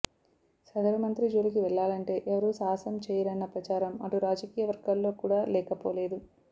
సదరు మంత్రి జోలికి వెళ్లాలంటే ఎవరూ సాహసం చేయరన్న ప్రచారం అటు రాజకీయవర్గాల్లో కూడా లేకపోలేదు